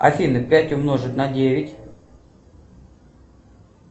афина пять умножить на девять